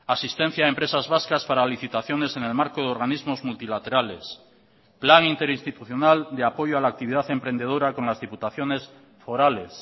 asistencia a empresas vascas para licitaciones en el marco de organismos multilaterales plan interinstitucional de apoyo a la actividad emprendedora con las diputaciones forales